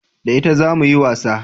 Da ita zamu yi wasa